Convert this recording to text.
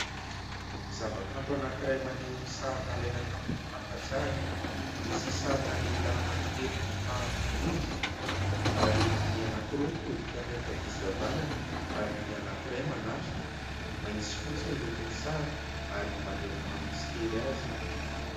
Zavakanto anankiray maneho sary nalaina tamin'ny fakantsary, misy sarina lehilahy anankitelo mifanindry : ary ny anankiroa mitodika miankavia sy havanana, ary ny anankiray manatrika. Mainty sy fotsy ny lokon'ny sary ary maneho ny mahamisitery azy.